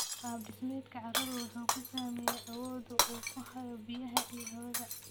Qaab dhismeedka carradu wuxuu saameeyaa awooda uu ku hayo biyaha iyo hawada.